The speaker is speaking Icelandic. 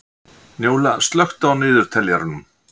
Njóla, slökktu á niðurteljaranum.